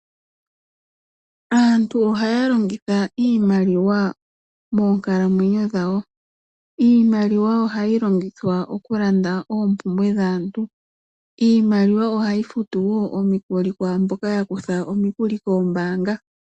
Aantu ohaya longitha iimaliwa moonkalamwenyo dhawo. Iimaliwa ohayi longithwa okulanda oompumbwe dhaantu. Iimaliwa ohayi futu wo omikuli kwaamboka yakutha omikuli koombaanga.